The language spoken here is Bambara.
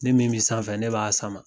Ne min be sanfɛ, ne b'a sama.